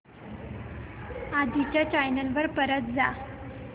आधी च्या चॅनल वर परत जा